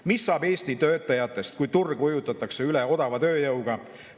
Mis saab Eesti töötajatest, kui turg ujutatakse üle odava tööjõuga?